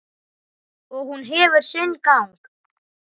Og hún hefur sinn gang.